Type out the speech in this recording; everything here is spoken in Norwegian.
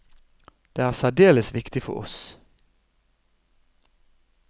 Det er særdeles viktig for oss.